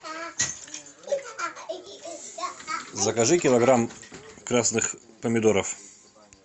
закажи килограмм красных помидоров